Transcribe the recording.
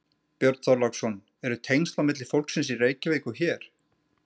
Björn Þorláksson: Eru tengsl á milli fólksins í Reykjavík og hér?